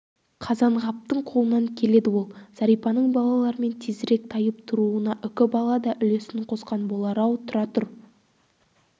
қазанғаптың қолынан келеді ол зәрипаның балаларымен тезірек тайып тұруына үкібала да үлесін қосқан болар-ау тұра тұр